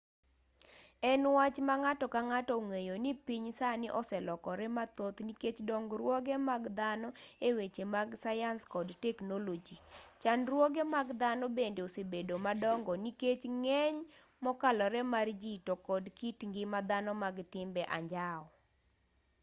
en wach ma ng'ato ka ng'ato ong'eyo ni piny sani oselokore mathoth nikech dongruoge mag dhano e weche mag sayans kod teknoloji chandruoge mag dhano bende osebedo madongo nikech ng'eny mokalore mar ji to kod kit ngima dhano mag timbe anjao